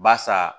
Barisa